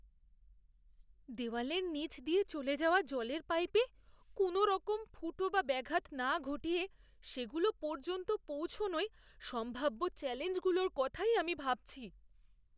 দেওয়ালের নীচ দিয়ে চলে যাওয়া জলের পাইপে কোনওরকম ফুটো বা ব্যাঘাত না ঘটিয়ে সেগুলো পর্যন্ত পৌঁছনোয় সম্ভাব্য চ্যালেঞ্জগুলোর কথাই আমি ভাবছি।